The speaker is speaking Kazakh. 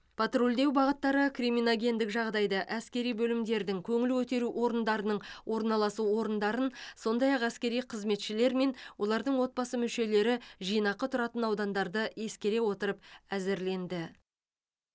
патрульдеу бағыттары криминогендік жағдайды әскери бөлімдердің көңіл көтеру орындарының орналасу орындарын сондай ақ әскери қызметшілер мен олардың отбасы мүшелері жинақы тұратын аудандарды ескере отырып әзірленді